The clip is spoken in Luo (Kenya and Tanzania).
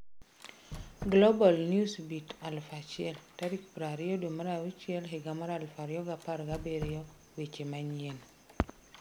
Global Newsbeat 1000 20/06/2017 Weche Manyien